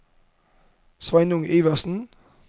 Sveinung Iversen